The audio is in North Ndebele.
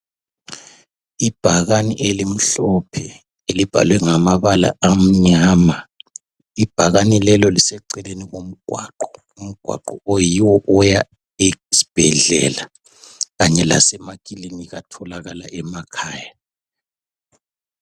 Ibhakane elimhlophe elibhalwe ngamabala amnyama. Ibhakane leli liseceleni komgwaqo. Umgwaqo oyiwo oya esibhedlela kanye lasemakilinika atholakala emakhaya.